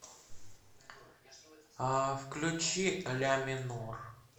включи ля минор